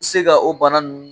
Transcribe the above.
Se ka o bana nunnu